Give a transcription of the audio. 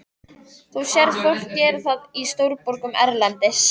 Þú sérð fólk gera það í stórborgum erlendis.